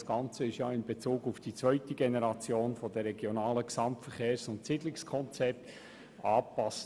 Das Ganze wurde hinsichtlich der zweiten Generation der Regionalen Gesamtverkehrs- und Siedlungskonzepte angepasst.